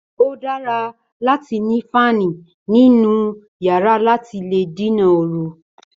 Ó dára láti ni fáàni nínú yàrá láti lè dènà ooru